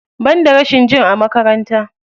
Banda rashin jin a makaranta.